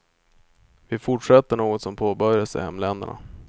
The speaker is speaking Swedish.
Vi fortsätter något som påbörjats i hemländerna.